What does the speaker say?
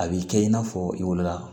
A b'i kɛ i n'a fɔ wolola